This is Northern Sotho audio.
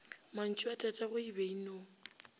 mantšuatatagwe e be e no